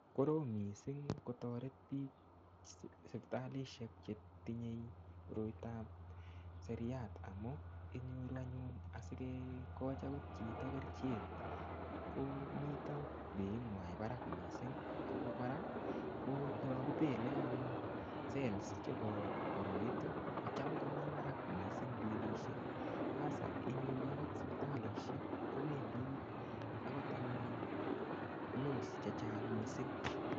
Korom mising kotoret biik sipitalishek chetinye koroitab seriat amun kinyoru anyun asikekochi akot chito kerichek ko mito beinywan barak mising ak ko kora yoon kibele anyun cells chebo koroiton kocham komii barak mising bilishek asaa inyoru akot sipitalishek ko bendii akot loss chehcang mising.